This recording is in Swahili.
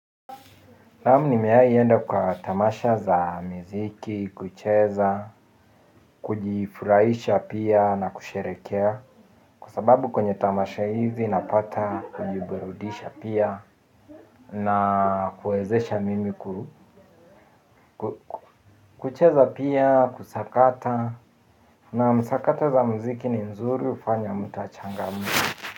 Naamu nimewai enda kwa tamasha za mziki, kucheza, kujifuraisha pia na kusherekea. Kwa sababu kwenye tamasha hizi napata kujiburudisha pia na kuezesha mimi ku kucheza pia kusakata na msakata za mziki ni mzuri ufanya mtu achangamke.